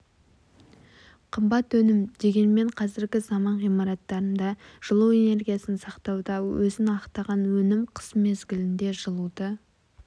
қымбат өнім дегенмен қазіргі заман ғимараттарында жылу энергиясын сақтауда өзін ақтаған өнім қыс мезгілінде жылуды